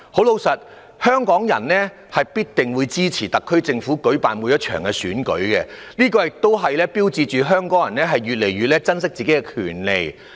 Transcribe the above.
老實說，香港人必定支持特區政府舉辦的每一場選舉，這也標誌着香港人越來越珍惜自己的權利。